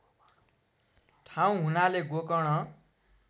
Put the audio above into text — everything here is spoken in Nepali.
ठाउँ हुनाले गोकर्ण